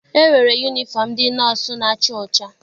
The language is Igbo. E nwere yunifọm ndị nọọsụ na-acha ọcha.